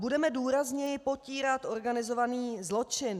Budeme důrazněji potírat organizovaný zločin.